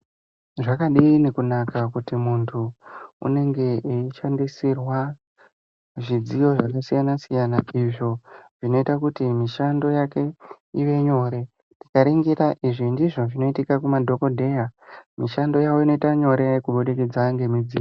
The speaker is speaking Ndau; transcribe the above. Zvakadini kunaka kuti munthu unenge eishandisirwa zvidziyo zvakasiyana siyana izvo zvinoita kuti mishando yake ive nyore ukaningira izvi ndizvo zvinoitika kumadhokodheya mishando yavo inoite nyore kubudikidza nemidziyo.